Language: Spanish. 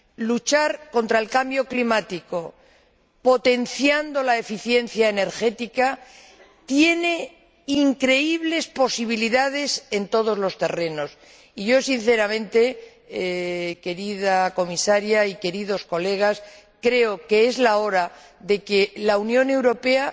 Luchar contra el cambio climático, potenciando la eficiencia energética, tiene increíbles posibilidades en todos los terrenos, y yo, sinceramente, querida Comisaria y queridos colegas, creo que es la hora de que la Unión Europea